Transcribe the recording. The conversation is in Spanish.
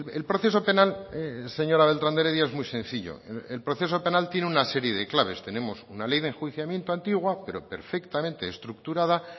el proceso penal señora beltran de heredia es muy sencillo el proceso penal tiene una serie de claves tenemos una ley de enjuiciamiento antigua pero perfectamente estructurada